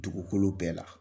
Dugukolo bɛɛ la.